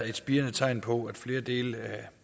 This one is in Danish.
et spirende tegn på at flere dele